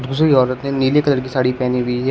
दूसरी औरत ने नीले कलर की साड़ी पहनी हुई है।